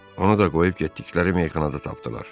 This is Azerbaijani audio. Onu da qoyub getdikləri meyxanada tapdılar.